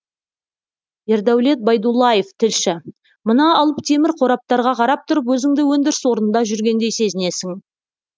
ердәулет байдуллаев тілші мына алып темір қораптарға қарап тұрып өзіңді өндіріс орнында жүргендей сезінесің